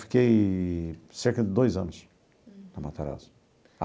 Fiquei cerca de dois anos na Matarazzo.